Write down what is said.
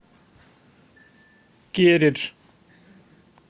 кередж